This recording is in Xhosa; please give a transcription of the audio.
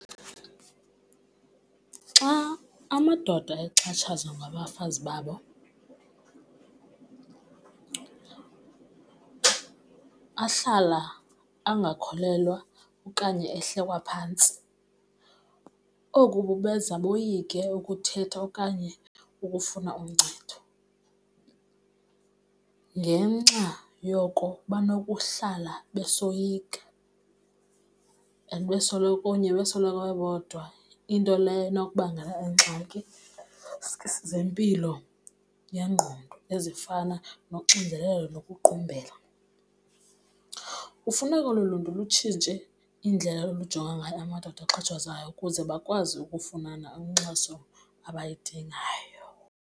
Xa amadoda exhatshazwa ngabafazi babo ahlala angakholelwa okanye ehlekwa phantsi. Oku kubenza boyike ukuthetha okanye ukufuna uncedo. Ngenxa yoko banokuhlala besoyika and kunye besoloko bebodwa, into leyo enokubangela iingxaki zempilo yengqondo ezifana noxinzelelo nokuqumbela. Kufuneka olu luntu lutshintshe indlela olujonga ngayo amadoda axhatshazwayo ukuze bakwazi ukufumana inkxaso abayidingayo.